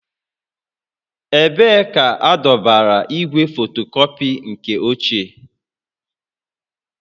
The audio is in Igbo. Ebee ka adọbara igwe fotokọpị nke ochie?